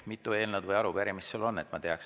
Mitu eelnõu või arupärimist sul on?